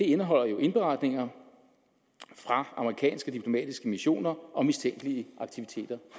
indeholder jo indberetninger fra amerikanske diplomatiske missioner om mistænkelige aktiviteter